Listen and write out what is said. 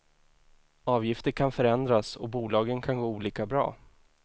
Avgifter kan förändras och bolagen kan gå olika bra.